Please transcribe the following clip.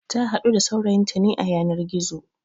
Ta haɗu da saurayinta ne a yanar gizo